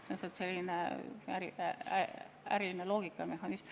See on lihtsalt äriline loogika, ärimehhanism.